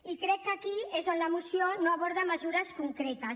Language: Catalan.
i crec que aquí és on la moció no aborda mesures concretes